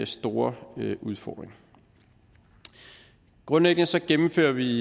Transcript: store udfordring grundlæggende gennemfører vi